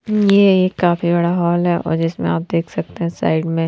ये एक काफी बड़ा हॉल है और जिसमे आप देख सकते हैं साइड में --